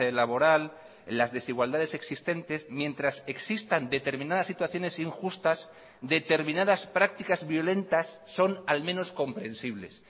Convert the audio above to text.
laboral las desigualdades existentes mientras existan determinadas situaciones injustas determinadas prácticas violentas son al menos comprensibles